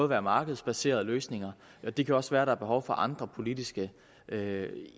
være markedsbaserede løsninger og det kan også være der er behov for andre politiske